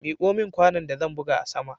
Miko min kwanon da zan buga a sama